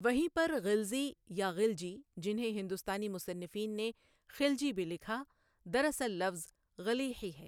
وہیں پر غلزی یا غلجی جنھیں ہندوستانی مصنفین نے خلجی بھی لکھا دراصل لفظ غیلځي ہے۔